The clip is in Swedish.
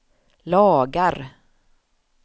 lagar